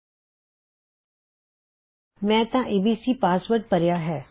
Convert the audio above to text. ਤੇ ਮੈਂ abcਪਾਸਵਰਡ ਭਰਿਆ ਹੈ